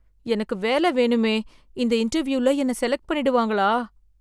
எனக்கு வேல வேணுமே, இந்த இன்டர்வியூல என்ன செலக்ட் பண்ணிடுவாங்களா?